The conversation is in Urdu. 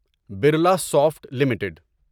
Birla soft limited